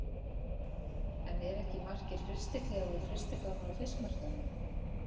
En eru ekki markir frystiklefar og frystigámar á fiskmarkaðinum?